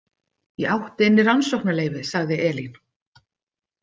Ég átti inni rannsóknaleyfi, sagði Elín.